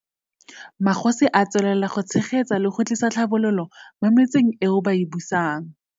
Magosi a tswelela go tshegetsa le go tlisa tlhabololo mo metseng eo ba e busang.